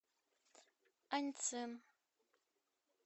аньцин